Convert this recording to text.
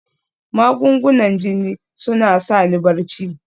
Magungunan jini suna sa ni barci